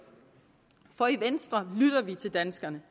for i venstre lytter vi til danskerne